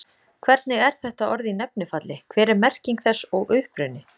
Hvernig er þetta orð í nefnifalli, hver er merking þess og uppruni?